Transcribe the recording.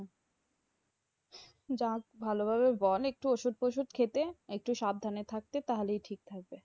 যাক ভালোভাবে বল একটু ওষুধ অষুধ খেতে। একটু সাবধানে থাকতে তাহলেই ঠিক থাকবে।